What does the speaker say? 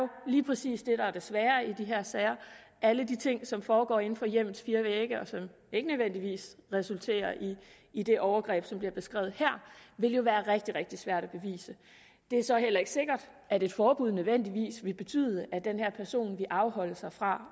lige præcis det der er det svære i de her sager alle de ting som foregår inden for hjemmets fire vægge og som ikke nødvendigvis resulterer i i det overgreb som bliver beskrevet her vil jo være rigtig rigtig svære at bevise det er så heller ikke sikkert at et forbud nødvendigvis ville betyde at den her person ville afholde sig fra